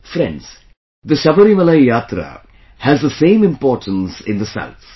Friends, the Sabarimala Yatra has the same importance in the South